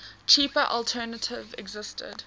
cheaper alternative existed